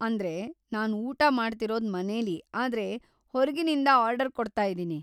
ಅಂದ್ರೆ, ನಾನ್‌ ಊಟ ಮಾಡ್ತಿರೋದ್‌ ಮನೇಲೀ ಆದ್ರೆ ಹೊರ್ಗಿನಿಂದ ಆರ್ಡರ್‌ ಕೊಡ್ತಾಯಿದಿನಿ.